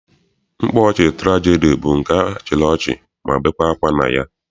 Mkpaọchị tụrajedi bụ nke a chịrị ọchị ma bekwaa akwa na ya.